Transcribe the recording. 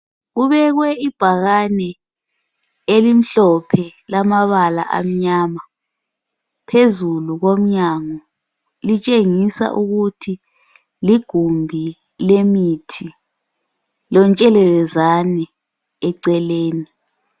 Kubekwe ibhakane elimhlophe lamabala amnyama phezulu komnyango littshengisa ukuthi ligumbi lemithi lontshelelezane eceleni.